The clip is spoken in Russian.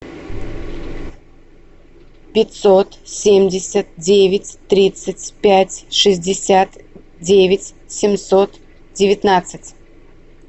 пятьсот семьдесят девять тридцать пять шестьдесят девять семьсот девятнадцать